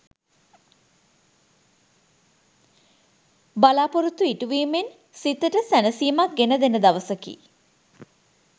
බලා‍පොරොත්තු ඉටුවීමෙන් සිතට සැනසීමක් ගෙන දෙන දවසකි.